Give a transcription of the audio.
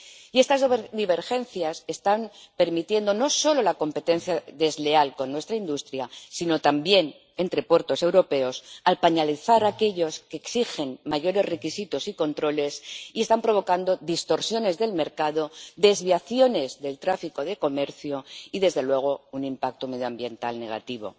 Y estas divergencias están permitiendo no solo la competencia desleal con nuestra industria sino también entre puertos europeos, al penalizar a aquellos que exigen mayores requisitos y controles, y están provocando distorsiones del mercado, desviaciones del tráfico de comercio y, desde luego, un impacto medioambiental negativo.